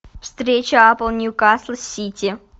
встреча апл ньюкасл сити